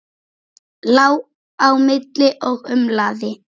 Lá á milli og umlaði.